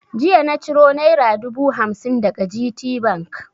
Jiya na ciro naira dubu hamsin daga GTBank.